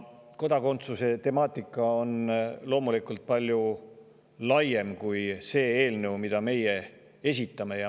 Kodakondsuse temaatika on loomulikult palju laiem kui see eelnõu, mida meie esitame.